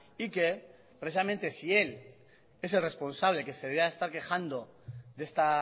y que precisamente si él es el responsable que se debería de estar quejando de esta